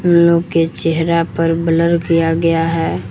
इन लोगो के चेहरा पर ब्लर किया गया है।